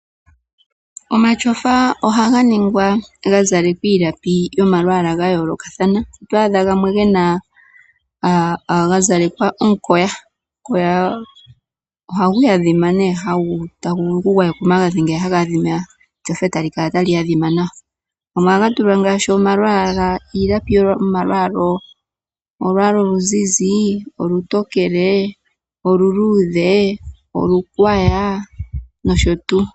Omashofa ohaga ningwa ga zalekwa iilapi yomalwaala ga yoolokathana, oto adha gamwe ga zalekwa omukoya, omukoya ohagu adhima ohagu vulu oku gwayekwa omagadhi ngeya haga adhima, eshofa tali kala tali adhima nawa. Gamwe ohaga tulwa ngaashi omalapi golwaala oluzizi, olutokele, oluluudhe, olungwaya noshotu.